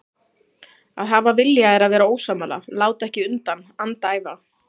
Að hafa vilja er að vera ósammála, láta ekki undan, andæfa.